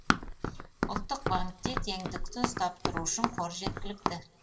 ұлттық банкте теңдікті ұстап тұру үшін қор жеткілікті